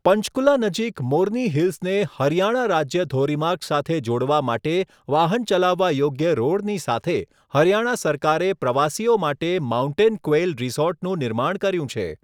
પંચકુલા નજીક મોરની હિલ્સને હરિયાણા રાજ્ય ધોરીમાર્ગ સાથે જોડવા માટે વાહન ચલાવવા યોગ્ય રોડની સાથે હરિયાણા સરકારે પ્રવાસીઓ માટે માઉન્ટેન ક્વેઈલ રિસોર્ટનું નિર્માણ કર્યું છે.